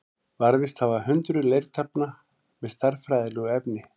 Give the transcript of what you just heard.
Varðveist hafa hundruð leirtaflna með stærðfræðilegu efni.